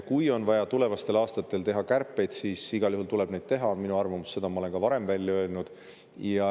Kui on vaja tulevastel aastatel teha kärpeid, siis igal juhul tuleb neid teha, on minu arvamus, seda ma olen ka varem öelnud.